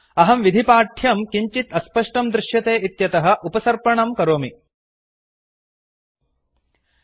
अहं विधिपाठ्यं किञ्चित् अस्पष्टं दृश्यते इत्यतः उपसर्पणं झूम् करोमि